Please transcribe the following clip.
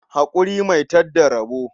Haƙuri mai tad da rabo.